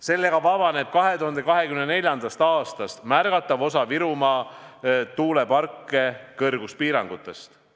Sellega vabaneb 2024. aastast märgatav osa Virumaa tuuleparke kõrguspiirangutest.